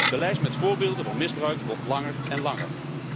De lijst met voorbeelden van misbruik wordt langer en langer.